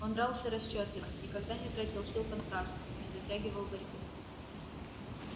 он дрался расчётливо никогда не тратил сил понапрасну не затягивал борьбы